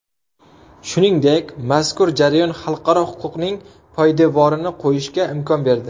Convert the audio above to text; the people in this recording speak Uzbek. Shuningdek, mazkur jarayon xalqaro huquqning poydevorini qo‘yishga imkon berdi.